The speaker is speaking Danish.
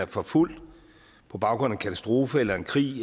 forfulgt på baggrund af en katastrofe eller en krig